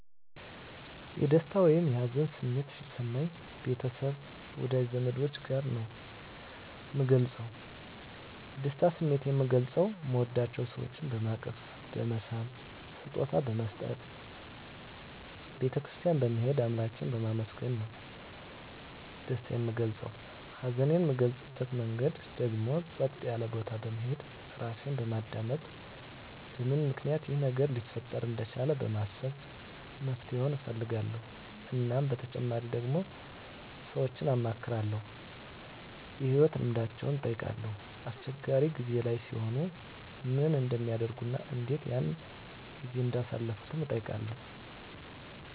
የደስታ ወይም የሀዘን ስሜት ሲሰማኝ ቤተሰብ ወዳጅ ዘመዶቸ ጋር ነዉ ምገልፀዉ የደስታ ስሜቴን ምገልፀዉ ምወዳቸዉ ሰወችን በማቀፍ በመሳም ስጦታ በመስጠት ቤተ ክርስትያን በመሄድ አምላኬን በማመስገን ነዉ ደስታየን ምገልፀዉ ሀዘኔን ምገልፅበት መንገድ ደግሞ ፀጥ ያለ ቦታ በመሄድ ራሴን በማዳመጥ በምን ምክንያት ይሄ ነገር ሊፈጠር እንደቻለ በማሰብ መፍትሄዉን እፈልጋለዉ እናም በተጨማሪ ደግሞ ሰወችን አማክራለዉ የህይወት ልምዳቸዉን እጠይቃለዉ አስቸጋሪ ጊዜ ላይ ሲሆኑ ምን እንደሚያደርጉ እና እንዴት ያን ጊዜ እንዳሳለፉትም እጠይቃለዉ